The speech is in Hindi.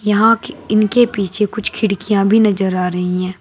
यहां के इनके पीछे कुछ खिड़कियां भी नजर आ रही हैं।